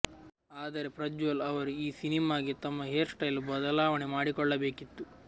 ಆದರೆ ಪ್ರಜ್ವಲ್ ಅವರು ಈ ಸಿನಿಮಾಗೆ ತಮ್ಮ ಹೇರ್ ಸ್ಟೈಲ್ ಬದಲಾವಣೆ ಮಾಡಿಕೊಳ್ಳಬೇಕಿತ್ತು